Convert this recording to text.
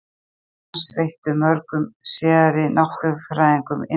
Afrek hans veittu mörgum síðari náttúrufræðingum innblástur.